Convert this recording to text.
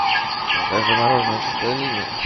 закажи мороженое чистая линия